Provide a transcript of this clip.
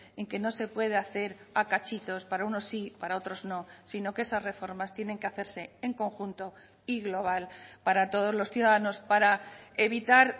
en que no se puede hacer a cachitos para unos sí para otros no sino que esas reformas tienen que hacerse en conjunto y global para todos los ciudadanos para evitar